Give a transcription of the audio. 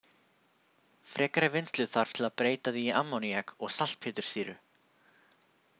Frekari vinnslu þarf til að breyta því í ammóníak og saltpéturssýru.